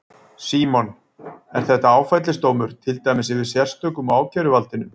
Símon: Er þetta áfellisdómur, til dæmis yfir sérstökum og ákæruvaldinu?